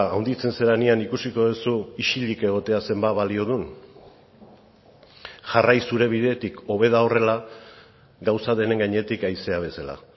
handitzen zarenean ikusiko duzu isilik egotea zenbat balio duen jarrai zure bidetik hobe da horrela gauza denen gainetik haizea bezala